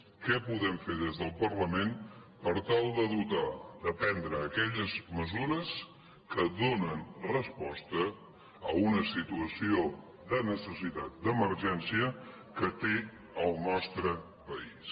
què podem fer des del parlament per tal de dotar de prendre aquelles mesures que donen resposta a una situació de necessitat d’emergència que té el nostre país